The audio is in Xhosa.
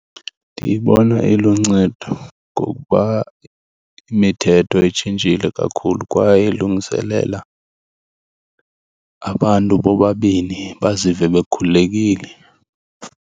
Ndiyibona iluncedo ngokuba imithetho itshintshile kakhulu kwaye ilungiselela abantu bobabini bazive bekhululekile.